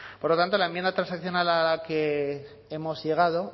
por lo tanto la enmienda transaccional a la que hemos llegado